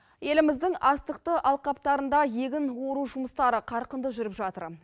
еліміздің астықты алқаптарында егін ору жұмыстары қарқынды жүріп жатыр